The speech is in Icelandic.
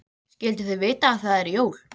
Skyldu þau vita að það eru jól?